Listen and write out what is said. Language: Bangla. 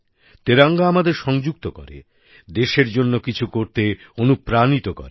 তেরঙা আমাদের সংযুক্ত করে দেশের জন্য কিছু করতে অনুপ্রাণিত করে